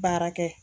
Baara kɛ